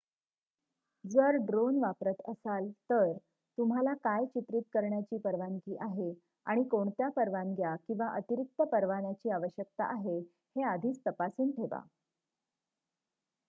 जर ड्रोन वापरत असाल तर तुम्हाला काय चित्रित करण्याची परवानगी आहे आणि कोणत्या परवानग्या किंवा अतिरिक्त परवान्याची आवश्यकता आहे हे आधीच तपासून ठेवा